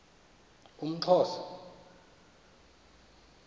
umxhosa